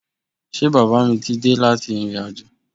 Ṣé bàbá mí ti dé láti ìrìnàjò?